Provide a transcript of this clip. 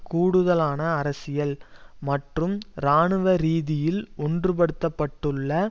கூடுதலான அரசியல் மற்றும் இராணுவ ரீதியில் ஒன்று படுத்தப்பட்டுள்ள